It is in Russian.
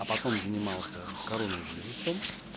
а потом занимался коронавирусом